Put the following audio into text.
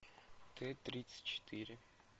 т тридцать четыре